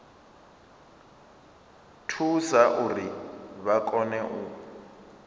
thusa uri vha kone u